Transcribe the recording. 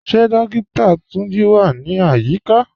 Ṣe Dókìtà Túnjí wà ní ayíkà?